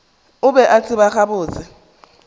o be a tseba gabotse